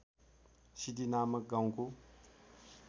सिद्धि नामक गाउँको